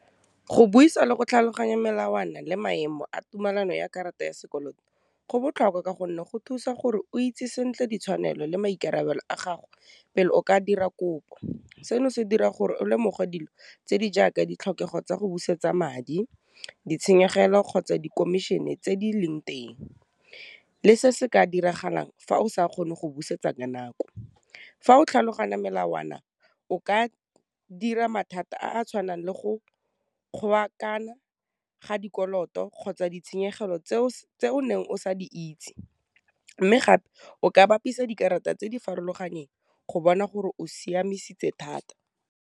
Go buisa le go tlhaloganya melawana le maemo a tumelano ya karata ya sekoloto, go botlhokwa ka gonne go thusa gore o itse sentle ditshwanelo le maikarabelo a gago pele o ka dira kopo, seno se dira gore o lemogwa dilo tse di jaaka ditlhokego tsa go busetsa madi, ditshenyegelo, kgotsa di komišene tse di leng teng, le se se ka diragalang fa o sa kgone go busetsa ka nako. Fa o tlhaloganya melawana, o ka dira mathata a a tshwanang le go ga dikoloto kgotsa ditshenyegelo tseo o neng o sa di itse, mme gape o ka bapisa dikarata tse di farologaneng go bona gore o siamisitse thata.